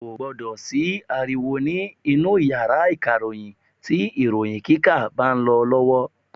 Kò gbọ́dọ̀ sí ariwo ní inú yàrá ìkàròyìn tí ìròyìn kíkà bá lọ lọ́wọ́.